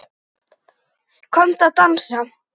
Komdu að dansa